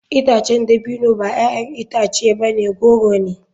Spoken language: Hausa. Itacen dabino ba 'ya'yan itace ba goro ne.